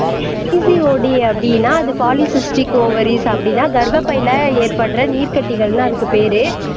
PCOD அப்படின்னா அது polycystic ovaries அப்படின்னா கர்ப்பப்பையில ஏற்படற நீர்க்கட்டிகள்ன்னு அதுக்கு பேரு